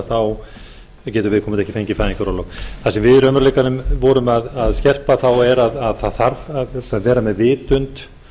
þá getur viðkomandi ekki fengið fæðingarorlof það sem við í raunveruleikanum vorum að skerpa þá er að það þarf að vera með vitund